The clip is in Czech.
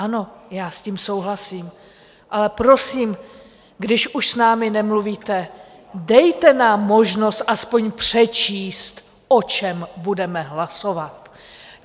Ano, já s tím souhlasím, ale prosím, když už s námi nemluvíte, dejte nám možnost aspoň přečíst, o čem budeme hlasovat.